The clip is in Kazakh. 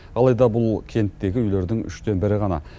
алайда бұл кенттегі үйлердің үштен бірі ғана